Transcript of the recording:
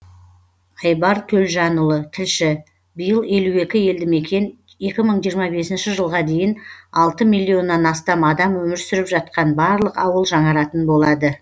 айбар төлжанұлы тілші биыл елу екі елдімекен екі мың жиырма бесінші жылға дейін алты миллионнан астам адам өмір сүріп жатқан барлық ауыл жаңаратын болады